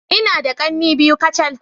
Ina da kanne biyu kacal.